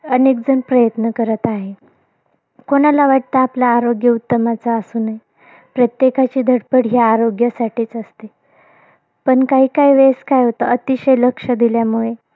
अनेकजण प्रयत्न करत आहेत. कोणाला वाटतं आपलं आरोग्य उत्तम असू नये? प्रत्येकाची धडपड ही आरोग्यासाठीच असते. पण काहीकाही वेळेस काय होतं, अतिशय लक्ष दिल्या मुळे,